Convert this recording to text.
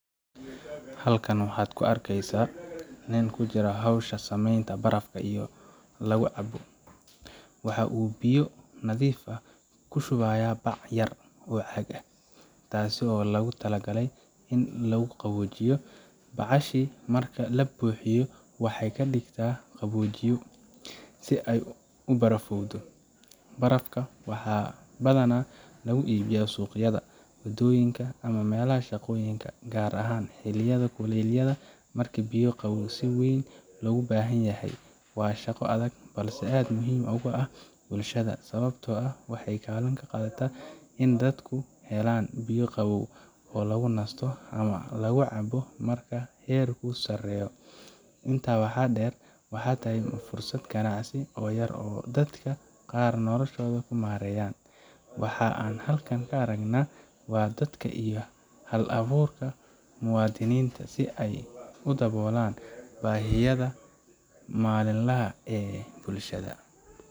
Halkan waxaad ka arkaysaa nin ku jira howsha sameynta barafka lagu cabo. Waxa uu biyo nadiif ah ku shubayaa bac yar oo caag ah, taasoo loogu talagalay in lagu qaboojiyo. Bacahaasi marka la buuxiyo, waxaay ka dhigtaa qaboojiye si ay u barafowdo. Barafkan waxaa badanaa lagu iibiyaa suuqyada, waddooyinka ama meelaha shaqooyinka, gaar ahaan xilliyada kulaylaha marka biyo qabow si weyn loo baahan yahay. Waa shaqo adag, balse aad muhiim ugu ah bulshada, sababtoo ah waxay kaalin ka qaadataa in dadku helaan biyo qabow oo lagu nasto ama lagu cabbo marka heerku sareeyo. Intaa waxaa dheer, waxay tahay fursad ganacsi oo yar oo dadka qaar noloshooda ku maareeyaan. Waxa aan halkan ka aragnaa waa dadaalka iyo hal abuurka muwaadiniinta si ay u daboolaan baahiyaha maalinlaha ah ee bulshada.